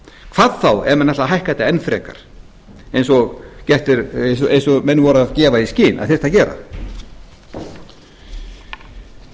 hvað þá ef menn ætla að hækka þetta enn frekar eins og menn voru að gefa í skyn að þyrfti að gera í